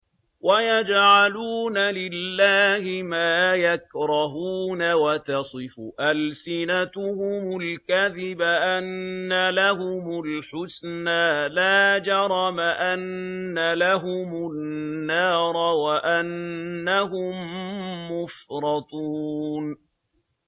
وَيَجْعَلُونَ لِلَّهِ مَا يَكْرَهُونَ وَتَصِفُ أَلْسِنَتُهُمُ الْكَذِبَ أَنَّ لَهُمُ الْحُسْنَىٰ ۖ لَا جَرَمَ أَنَّ لَهُمُ النَّارَ وَأَنَّهُم مُّفْرَطُونَ